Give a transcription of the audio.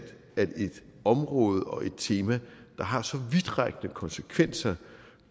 at et område og et tema der har så vidtrækkende konsekvenser